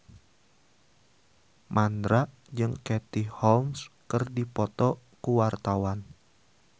Mandra jeung Katie Holmes keur dipoto ku wartawan